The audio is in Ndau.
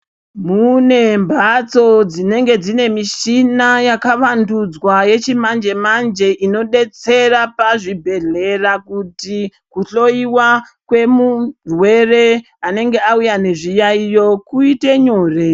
Mune mbatso dzinenge dzine mishina yakuvandudzwa yechimanje-manje inodetsera pazvibhedhlera inodetsera kuti kuhloyiwa kwemurwere anenge auya nezvirwere kuite nyore.